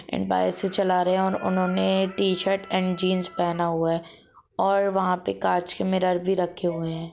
इनबाइर से चला रहे है और उन्होंने शर्ट एण्ड जींस पहना हुआ है और वहा पे कांच के मिरार भी रखे हुए है ।